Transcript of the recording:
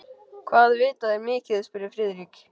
Hvað vita þeir mikið? spurði Friðrik.